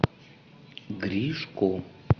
гришко